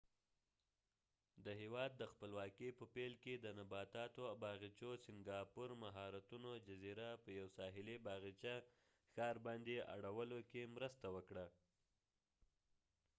د هیواد د خپلواکې په پیل کې ،د سنګاپورsingapore د نباتاتو باغچو مهارتونو جزیره په یو ساحلی باغچه ښار باندي اړولو کې مرسته وکړه